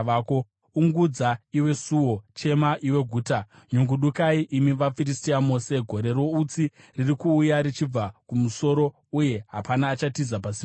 Ungudza iwe suo! Chema, iwe guta! Nyungudukai, imi vaFiristia mose! Gore routsi riri kuuya richibva kumusoro, uye hapana achatiza pasimba raro.